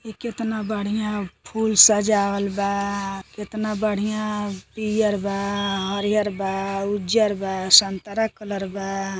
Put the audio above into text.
इ केतना बढ़िया फूल सजावल बा। केतना बढ़िया पियर बा। हरिहर बा। उज्जर बा। संतरा कलर बा।